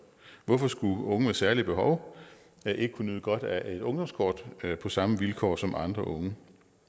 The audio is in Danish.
hvorfor skulle unge med særlige behov ikke kunne nyde godt af et ungdomskort på samme vilkår som andre unge